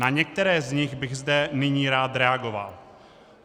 Na některé z nich bych zde nyní rád reagoval.